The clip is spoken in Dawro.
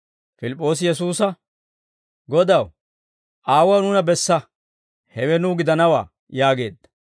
Pilip'p'oosi Yesuusa, «Godaw, Aawuwaa nuuna bessa; hewe nuw gidanawaa» yaageedda.